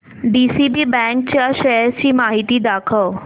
DCB bank च्या shares ची माहिती दाखव